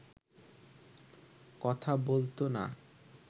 কথা বলতো না